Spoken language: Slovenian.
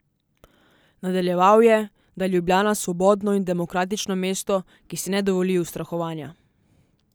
Nadaljeval je, da je Ljubljana svobodno in demokratično mesto, ki si ne dovoli ustrahovanja.